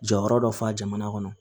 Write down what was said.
Jɔyɔrɔ dɔ fa jamana kɔnɔ